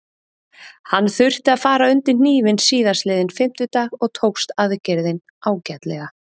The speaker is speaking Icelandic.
Hann þurfti að fara undir hnífinn síðastliðinn fimmtudag og tókst aðgerðin ágætlega.